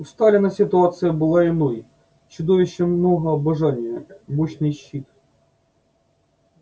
у сталина ситуация была иной чудовищно много обожания мощный щит